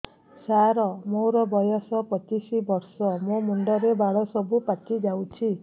ସାର ମୋର ବୟସ ପଚିଶି ବର୍ଷ ମୋ ମୁଣ୍ଡରେ ବାଳ ସବୁ ପାଚି ଯାଉଛି